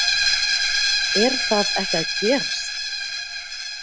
Ingimar Karl Helgason: Er það ekki að gerast?